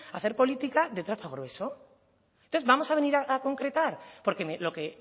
a hacer política de trazo grueso entonces vamos a venir a concretar porque lo que